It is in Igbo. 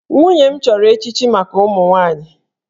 Nwunye m chọrọ echichi maka ụmụ nwaanyị